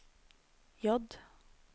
J